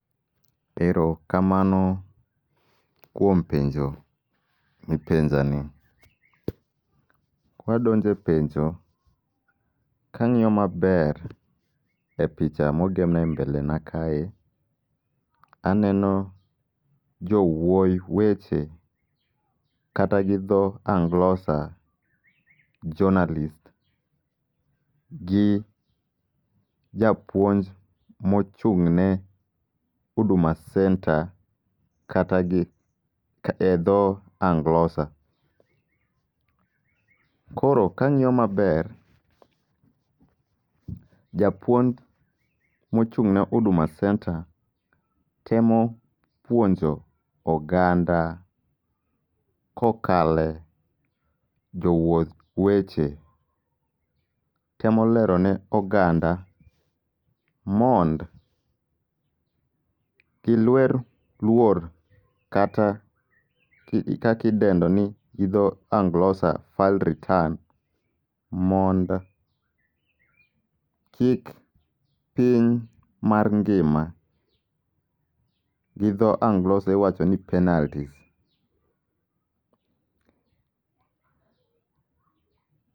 Ero kamano kuom penjo mipenja ni. Kwadonje penjo, kang'iyo maber e picha mogemna e mbele na kae, aneno jowuoyi weche kata gi dho Anglosa jonalist. Gi japuonj mochung' ne Huduma Center kata gi e dho Anglosa. Koro kang'iyo maber, japuony mochung'ne Huduma Center temo puonjo oganda kokale jowuoth weche, temo lero ne oganda mond gilwer luor kata kakidendo ni gidho Anglosa File Return mond kik piny mar ngima. Gi dho Anglosa iwacho ni penalt.